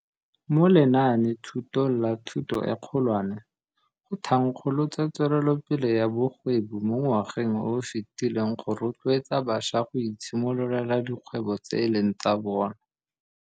Mo lenaanethutong la Thuto e Kgolwane, go thankgolotswe Tsweletsopele ya Bogwebi mo ngwageng o o fetileng go rotloetsa bašwa go itshimololela dikgwebo tse e leng tsa bona.